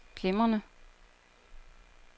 glimrende